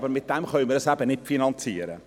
Damit können wir das eben nicht finanzieren.